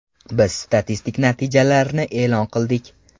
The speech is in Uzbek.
Biz statistik natijalarni e’lon qildik.